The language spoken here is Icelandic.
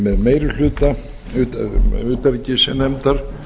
með meiri hluta utanríkisnefndar